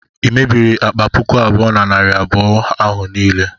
i mebiiri akpa puku abuo na narị abụọ ahụ niile?